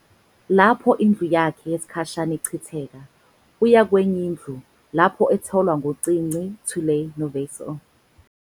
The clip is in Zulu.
Lapho indlu yakhe yesikhashana ichitheka, uya kwenye indlu, lapho etholwa ngu-cinci, Tülay noVeysel.